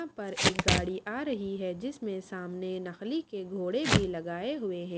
यहाँ पर एक गाड़ी आ रही है जिसमें सामने नखली के घोड़े भी लगाए हुए हैं।